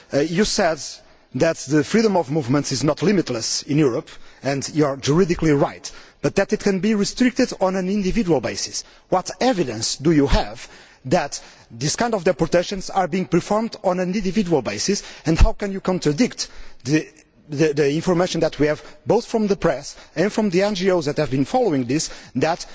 You said that freedom of movement is not limitless in Europe and you are juridically right but that it can be restricted on an individual basis. What evidence do you have that this kind of deportation is being performed on an individual basis and how can you contradict the information that we have, both from the press and from the NGOs that have been following this, that